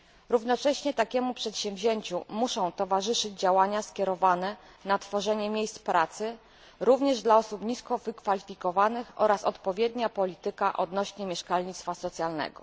Równocześnie takiemu przedsięwzięciu muszą towarzyszyć działania skierowane na tworzenie miejsc pracy, również dla osób nisko wykwalifikowanych, oraz odpowiednia polityka odnośnie mieszkalnictwa socjalnego.